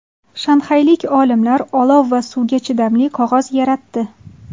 Shanxaylik olimlar olov va suvga chidamli qog‘oz yaratdi.